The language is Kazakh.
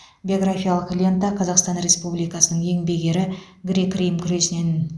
биографиялық лента қазақстан республикасының еңбек ері грек рим күресінен